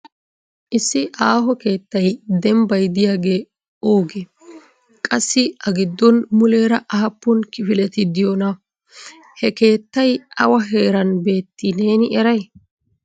Issi aaho keettay dembbay diyaage oogee? Qassi a giddon muleera aappun kifileti diyoona? He keettay awa heeran beetti neeni eray?